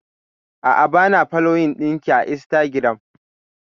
A'a bana foloyin ɗinki a instagiram